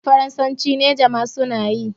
harhen faransanci niger ma suna yi